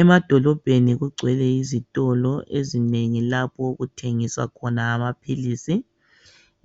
Emadolobheni kugcwele izitolo ezinengi lapho okuthengiswa khona amaphilisi.